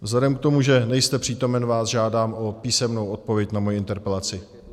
Vzhledem k tomu, že nejste přítomen, žádám vás o písemnou odpověď na moji interpelaci.